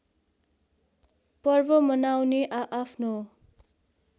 पर्व मनाउने आआफ्नो